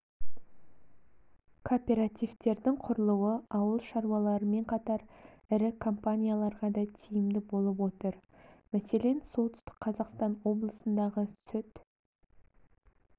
кооперативтердің құрылуы ауыл шаруаларымен қатар ірі компанияларға да тиімді болып отыр мәселен солтүстік қазақстан облысындағы сүт